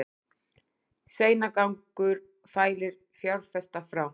Seinagangur fælir fjárfesta frá